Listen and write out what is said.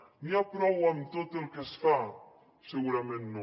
n’hi ha prou amb tot el que es fa segurament no